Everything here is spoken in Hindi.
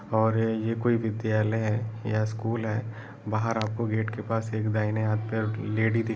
और ये कोई विद्यालय है या स्कूल है। बाहर आपको गेट के पास एक दाहिने हाथ पर लेडी दिख --